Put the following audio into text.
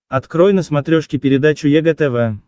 открой на смотрешке передачу егэ тв